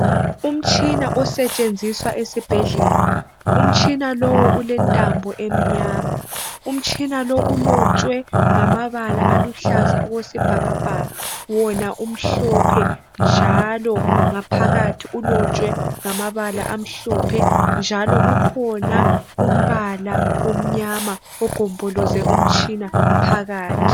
Umtshina osetshenziswa esibhedlela, umtshina lowu ulentambo emnyama. Umtshina lo ulotshwe ngamabala aluhlaza okwe sibhakabhaka wona umhlophe njalo ngaphakathi ulotshwe ngamabala amhlophe njalo kukhona umbala omnyama ogomboloze umtshina phakathi.